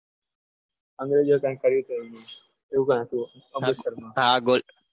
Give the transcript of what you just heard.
અંગ્રેજોએ કર્યું કંઈક એવું કંઈક હતુ અમૃતસરમાં